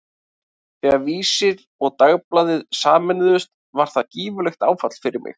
Þegar Vísir og Dagblaðið sameinuðust var það gífurlegt áfall fyrir mig.